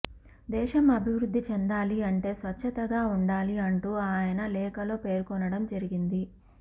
దేశం అభివృద్ది చెందాలి అంటే స్వచ్చతగా ఉండాలి అంటూ ఆయన ఆ లేఖలో పేర్కొనడం జరిగింది